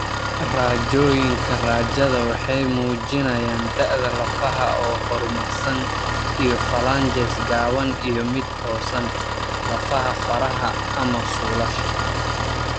Raajooyinka raajada waxay muujinayaan da'da lafaha oo horumarsan iyo phalanges gaaban iyo mid toosan (lafaha faraha iyo/ama suulasha).